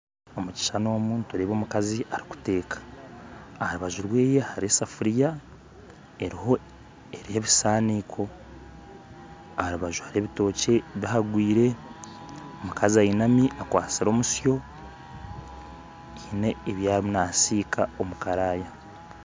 Omukishushani omu nitureeba omukazi arikuteeka aharubaju rweye hariho esefuria eriho ebisaaniko aharubaju hariho ebitookye bihagwire omukazi ainami akwatsire omusyo haine ebyariyo naasiika omukaraya